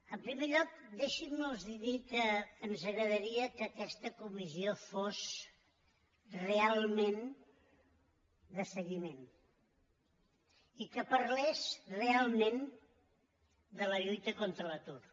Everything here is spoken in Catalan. en primer lloc deixi’m los dir que ens agradaria que aquesta comissió fos realment de seguiment i que parlés realment de la lluita contra l’atur